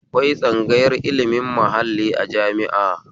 Akwai tsangayar ilimin mahalli a jami'a